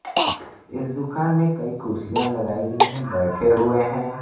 इस दुकान में कई कुर्सियां लगाई गई हैं बैठे हुए हैं।